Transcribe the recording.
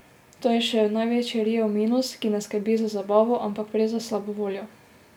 To je še največji riev minus, ki ne skrbi za zabavo, ampak prej za slabo voljo.